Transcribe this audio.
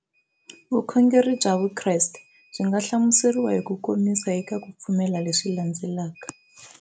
Vukhongeri bya Vukreste byi nga hlamuseriwa hi kukomisa eka ku pfumela leswi landzelaka.